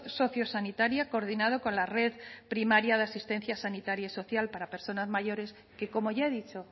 sociosanitaria coordinado con la red primaria de asistencia sanitaria y social para personas mayores que como ya he dicho